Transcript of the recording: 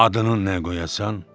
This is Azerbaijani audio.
Adının nə qoyasan?